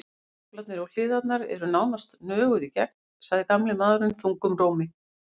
Gaflarnir og hliðarnar eru nánast nöguð í gegn, sagði gamli maðurinn þungum rómi.